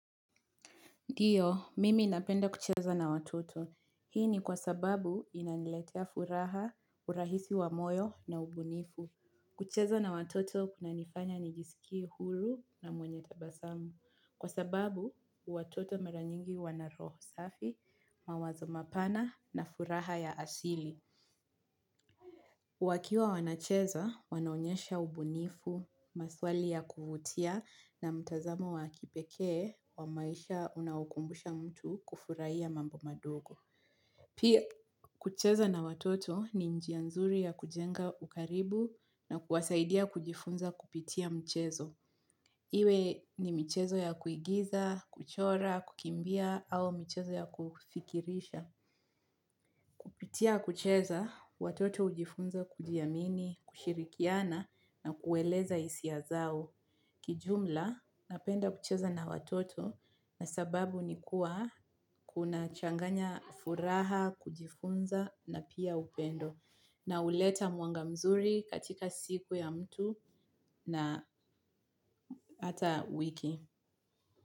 Ndiyo, mimi napenda kucheza na watoto. Hii ni kwa sababu inaniletea furaha, urahisi wa moyo na ubunifu. Kucheza na watoto kunanifanya nijisikie huru na mwenye tabasamu. Kwa sababu, watoto mara nyingi wanaroho safi, mawazo mapana na furaha ya asili. Wakiwa wanacheza, wanaonyesha ubunifu, maswali ya kuvutia na mtazamo wa kipekee wa maisha unaokumbusha mtu kufurahia mambo madogo. Pia, kucheza na watoto ni njia nzuri ya kujenga ukaribu na kuwasaidia kujifunza kupitia mchezo. Iwe ni mchezo ya kuigiza, kuchora, kukimbia au mchezo ya kufikirisha. Kupitia kucheza, watoto hujifunza kujiamini, kushirikiana na kueleza hisia zao. Kijumla, napenda kucheza na watoto na sababu ni kuwa kuna changanya furaha, kujifunza na pia upendo. Na huleta mwanga mzuri katika siku ya mtu na hata wiki.